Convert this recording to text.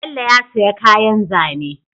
Bello ya siya kayan zane